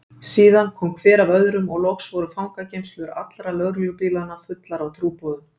Síðan kom hver af öðrum og loks voru fangageymslur allra lögreglubílanna fullar af trúboðum.